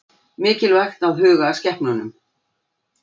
Mikilvægt að huga að skepnunum